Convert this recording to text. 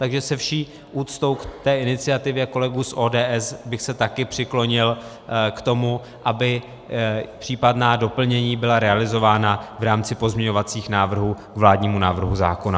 Takže se vší úctou k té iniciativě kolegů z ODS bych se taky přiklonil k tomu, aby případná doplnění byla realizována v rámci pozměňovacích návrhů k vládnímu návrhu zákona.